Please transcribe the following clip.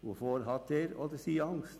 Wovor hat er oder sie Angst?